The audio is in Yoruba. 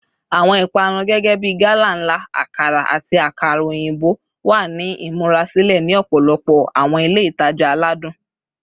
Awọn ipanu gẹgẹbi gala nla, akara, ati akara oyinbo wa ni imurasilẹ ni ọpọlọpọ awọn ile itaja aladun.